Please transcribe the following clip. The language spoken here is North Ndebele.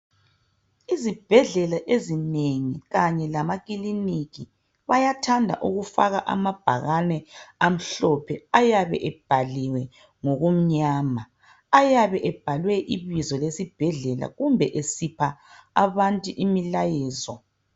Izibhedlela ezinengi kanye lamakiliniki bayathanda ukufaka amabhakane amhlophe ayabe ebhaliwe ngokumnyama ayabe ebhaliwe ibizo lesibhedlela kumbe esipha abantu imilayezo.